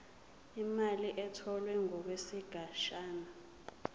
imali etholwe ngokwesigatshana